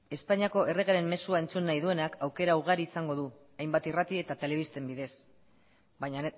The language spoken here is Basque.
espainiako erregearen mezua entzun nahi duenak aukera ugari izango du hainbat irrati eta telebisten bidez baina